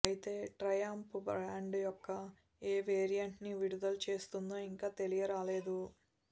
అయితే Triumph brand యొక్క ఏ వేరియంట్ ని విడుదల చేస్తుందో ఇంకా తెలియరాలేదు